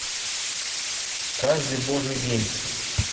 каждый божий день